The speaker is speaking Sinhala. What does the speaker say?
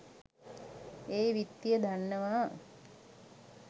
ඒ විත්තිය දන්නවා.